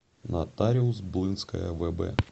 нотариус блынская вб